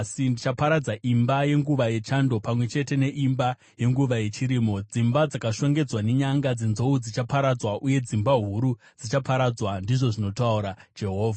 Ndichaparadza imba yenguva yechando, pamwe chete neimba yenguva yechirimo; dzimba dzakashongedzwa nenyanga dzenzou dzichaparadzwa uye dzimba huru dzichaparadzwa,” ndizvo zvinotaura Jehovha.